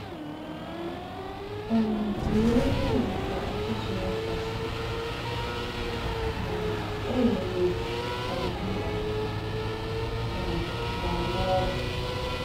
um Mgbe ihe dị ka ọchịchịrị kàsị, um e nwere oku ka mmadụ um gà-ama ọrụ!